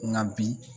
Nka bi